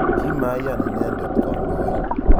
Kimaian inendet kandoik